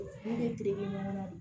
Ne bɛ kile kɛ ɲɔgɔn na